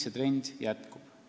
see trend jätkub.